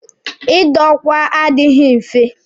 Ị dọ ọkwa adịghị nfe.